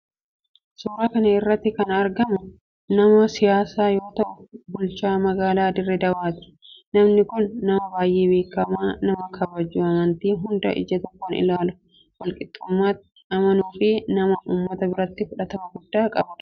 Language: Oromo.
Suuraa kana irratti kan agarru nama siyaasaa yoo ta'u bulchaa magaalaa Diree Dawaati. Namni kun nama baayyee beekkamaa nama kabaju, amantii hundaa ija tokkoon ilaalu, walqixxumaatti amanu fi nama ummata biratti fudhatama guddaa qabudha.